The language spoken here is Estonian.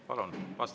Palun!